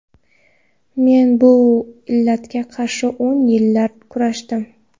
Men bu illatga qarshi o‘n yillar kurashdim.